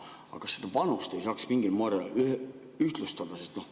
Aga kas seda vanust ei saaks mingil moel ühtlustada?